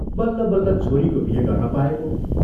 बल्ल बल्ल छोरीको बिहे गर्न पाएको।